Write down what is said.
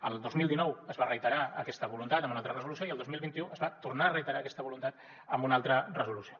el dos mil dinou es va reiterar aquesta voluntat amb una altra resolució i el dos mil vint u es va tornar a reiterar aquesta voluntat amb una altra resolució